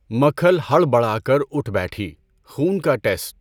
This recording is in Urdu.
مکھل ہڑبڑا کر اٹھ بیٹھی، خون کا ٹیسٹ؟